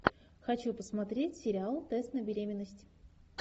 хочу посмотреть сериал тест на беременность